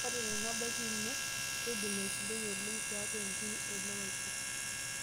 Ore tenebaiki ino, keidim aisudoi oleng' tiatua nkiri elewaisho.